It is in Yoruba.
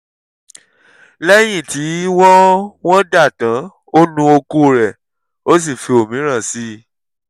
lẹ́yìn tí wọ́n wọ́n dà tán ó nu okó rẹ̀ ó sì fi òmíràn sí i